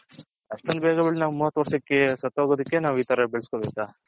ಅಷ್ಟೊಂದ್ ಬೇಗ ಬೆಳದಿ ನಾವು ಮೂವತ್ ವರ್ಷಕೆ ಸತ್ಹೊಗುದಕ್ಕೆ ನಾವ್ ಈ ತರ ಬೆಳಸ್ಕೊಬೇಕ.